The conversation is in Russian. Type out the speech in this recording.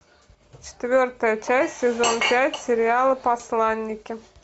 четвертая часть сезон пять сериала посланники